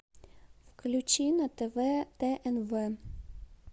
включи на тв тнв